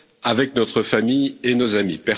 avec notre famille et nos amis.